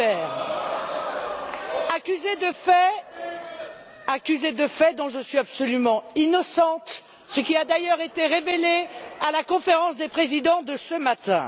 Weber, accusée de faits dont je suis absolument innocente, ce qui a d'ailleurs été révélé à la Conférence des présidents de ce matin.